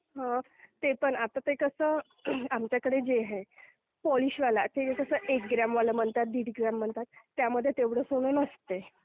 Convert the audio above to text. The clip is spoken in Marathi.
हो पण आता ते कसं आमच्याकडे जे आहे पॉलिशवाला. आता ते कसं एक ग्रामवाला म्हणतात, दीड ग्रामवाला म्हणतात, त्यामध्ये तेवढं सोनं नसते.